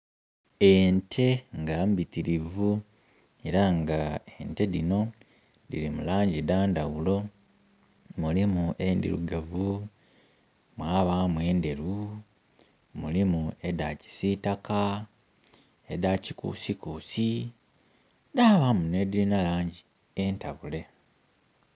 Ente nga mbitirivu era nga ente dhino dhiri mulangi dha ndhaghulo mulimu endhirugavu, mwabamu endheru, mulimu edha kisitaka, edha kikusikusi dhabamu ne dhirina langi entabule.